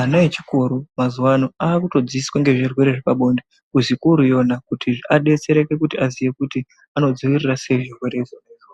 ana echikoro mazuwa ano akutodzidziswa ngendaa zvirwere zvepabonde kuzvikoro iyona kuti adetsereke kuti aziye kuti anodziirira sei zvirwere izvozvo.